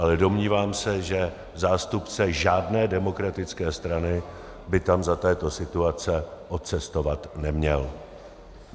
Ale domnívám se, že zástupce žádné demokratické strany by tam za této situace odcestovat neměl.